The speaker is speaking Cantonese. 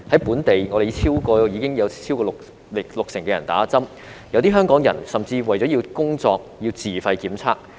本地超過六成市民已打針，有些香港人甚至為了工作而要自費檢測。